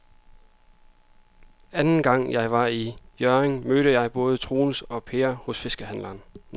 Anden gang jeg var i Hjørring, mødte jeg både Troels og Per hos fiskehandlerne.